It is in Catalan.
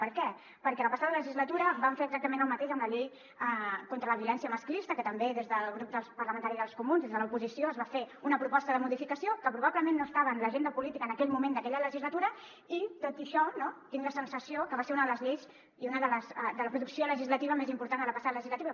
per què perquè la passada legislatura vam fer exactament el mateix amb la llei contra la violència masclista que també des del grup parlamentari dels comuns des de l’oposició es va fer una proposta de modificació que probablement no estava en l’agenda política en aquell moment d’aquella legislatura i tot i això tinc la sensació que va ser una de les lleis de la producció legislativa més important de la passada legislatura